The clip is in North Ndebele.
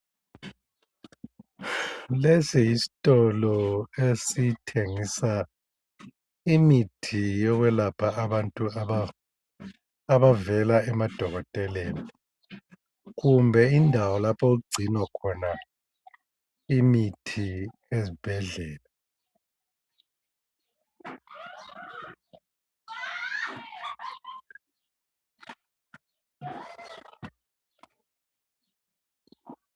Lesi yistolo esithengisa imithi yokwelapha abantu aba abavela emadokoteleni. Kumbe indawo laphokugcinwakhona imithi ezibhedlela.